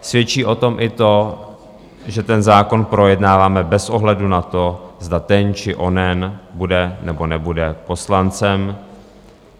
Svědčí o tom i to, že ten zákon projednáváme bez ohledu na to, zda ten či onen bude nebo nebude poslancem.